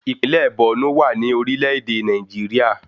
Ìpínlẹ̀ Bọ̀nú wà ní orílẹ̀ èdè Nàìjíríà